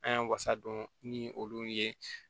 An y'an wasa don ni olu ye